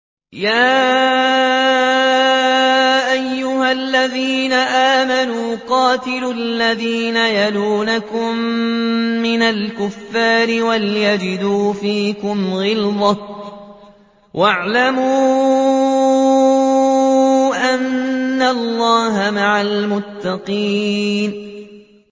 يَا أَيُّهَا الَّذِينَ آمَنُوا قَاتِلُوا الَّذِينَ يَلُونَكُم مِّنَ الْكُفَّارِ وَلْيَجِدُوا فِيكُمْ غِلْظَةً ۚ وَاعْلَمُوا أَنَّ اللَّهَ مَعَ الْمُتَّقِينَ